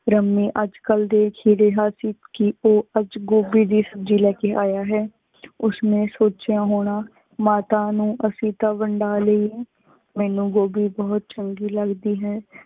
ਅਜਕਲ ਦੇ ਕੀ ਓਹ ਅਜੇ ਗੋਬਿ ਦੇ ਸਬ੍ਜ਼ੀ ਲੈਕੇ ਆਯਾ ਹੈ। ਉਸ ਨੇ ਸੋਚ੍ਯਾ ਹੋਣਾ ਮਾਤਾ ਨੂ ਅਸੀਂ ਤਾ ਵੰਡਾ ਲਈ ਹੈ। ਮੇਨੂ ਗੋਬਿ ਬੁਹਤ ਚੰਗੀ ਲਗਦੀ ਹੈ।